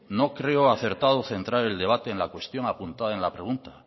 no creo acertado centrar el debate en la cuestión apuntada en la pregunta